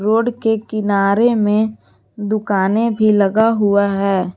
Road के किनारे में दुकाने भी लगा हुआ है।